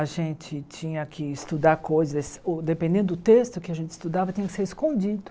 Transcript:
A gente tinha que estudar coisas, ou dependendo do texto que a gente estudava, tinha que ser escondido.